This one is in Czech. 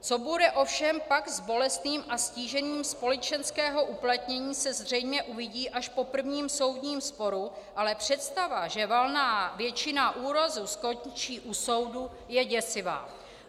Co bude ovšem pak s bolestným a ztížením společenského uplatnění, se zřejmě uvidí až po prvním soudním sporu, ale představa, že valná většina úrazů skončí u soudu, je děsivá.